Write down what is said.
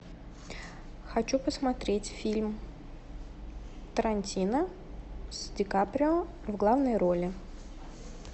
хочу посмотреть фильм тарантино с ди каприо в главной роли